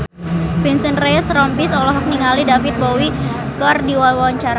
Vincent Ryan Rompies olohok ningali David Bowie keur diwawancara